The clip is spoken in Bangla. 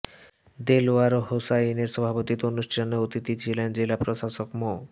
দেলওয়ার হোসাইনের সভাপতিত্বে অনুষ্ঠানে অতিথি ছিলেন জেলা প্রশাসক মো